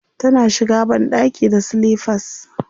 Tana shiga banɗaki da silifas.